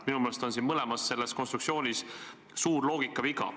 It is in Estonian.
Minu meelest on neis mõlemas konstruktsioonis suur loogikaviga.